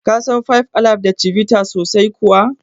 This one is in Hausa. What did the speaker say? Ka san five alive da Chivita sosai kuwa?